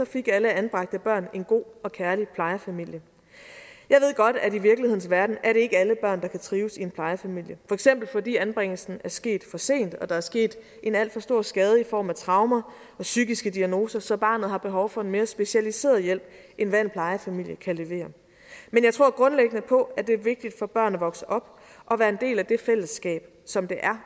fik alle anbragte børn en god og kærlig plejefamilie jeg ved godt at i virkelighedens verden er det ikke alle børn der kan trives i en plejefamilie for eksempel fordi anbringelsen er sket for sent og der er sket en alt for stor skade i form af traumer og psykiske diagnoser så barnet har behov for en mere specialiseret hjælp end hvad en plejefamilie kan levere men jeg tror grundlæggende på at det er vigtigt for børn at vokse op og være en del af det fællesskab som det er